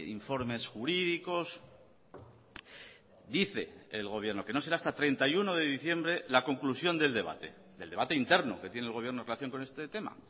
informes jurídicos dice el gobierno que no será hasta treinta y uno de diciembre la conclusión del debate del debate interno que tiene el gobierno en relación con este tema